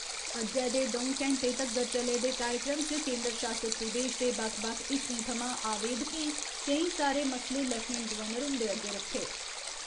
अज्जै दे द'ऊं घैंटें तगर चले दे कार्यक्रम च केन्दर शासित प्रदेश दे बक्ख बक्ख हिस्सें थमां आवेदकें केईं सारे मसले लेफ्टिनेंट गवर्नर हुंदे अग्गे रक्खे।